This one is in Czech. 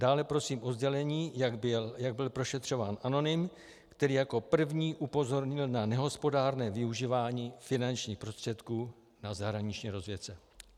Dále prosím o sdělení, jak byl prošetřován anonym, který jako první upozornil na nehospodárné využívání finančních prostředků na zahraniční rozvědce.